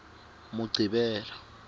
muqhivela